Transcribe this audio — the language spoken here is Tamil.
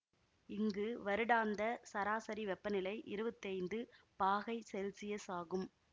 இங்கு வருடாந்த சராசரி வெப்பநிலை இருவத்தி ஐந்து பாகை செல்சியஸ் ஆகும்